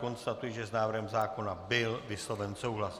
Konstatuji, že s návrhem zákona byl vysloven souhlas.